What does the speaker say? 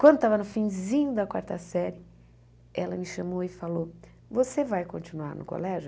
Quando estava no finzinho da quarta série, ela me chamou e falou, você vai continuar no colégio?